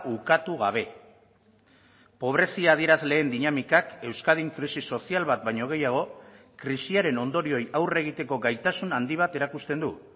ukatu gabe pobrezia adierazleen dinamikak euskadin krisi sozial bat baino gehiago krisiaren ondorioei aurre egiteko gaitasun handi bat erakusten du